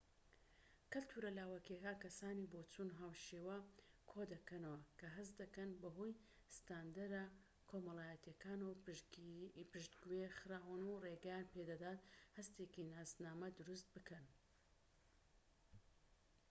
کەلتورە لاوەکیەکان کەسانی بۆچوون-هاوشێوە کۆ دەکەنەوە کە هەست دەکەن بە هۆی ستاندەرە کۆمەڵایەتیەکانەوە پشتگوێ خراون و ڕێگەیان پێدەدات هەستێکی ناسنامە دروست بکەن